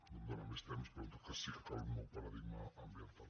no em dóna més temps però en tot cas sí que cal un nou paradigma ambiental